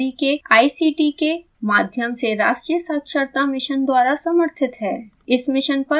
यह भारत सरकार के it it आर डी के आई सी टी के माध्यम से राष्ट्रीय साक्षरता mission द्वारा समर्थित है